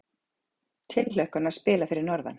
Tilhlökkun að spila fyrir norðan